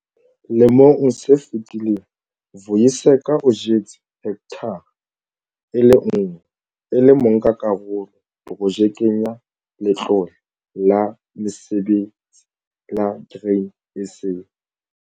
Lemong se fetileng Vuyiseka o jetse hekthara e le nngwe e le monkakarolo Projekeng ya Letlole la Mesebetsi la Grain SA.